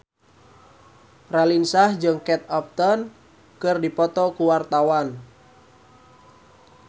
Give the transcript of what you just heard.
Raline Shah jeung Kate Upton keur dipoto ku wartawan